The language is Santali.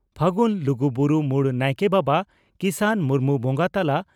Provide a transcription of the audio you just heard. ᱯᱷᱟᱹᱜᱩᱱ ᱞᱩᱜᱩᱵᱩᱨᱩ ᱢᱩᱲ ᱱᱟᱭᱠᱮ ᱵᱟᱵᱟ ᱠᱤᱥᱟᱱ ᱢᱩᱨᱢᱩ ᱵᱚᱸᱜᱟ ᱛᱟᱞᱟ